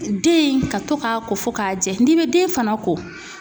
Den in ka to k'a ko fo k'a jɛ n'i bɛ den fana ko